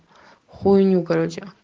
хуйню короче